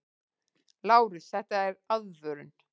LÁRUS: Þetta er aðvörun!